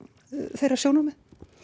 þeirra sjónarmið